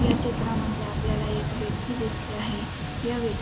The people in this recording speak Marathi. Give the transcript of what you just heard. या चित्रांमध्ये आपल्याला एक व्यक्ती दिसते आहे. या व्य--